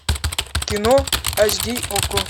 кино аш ди окко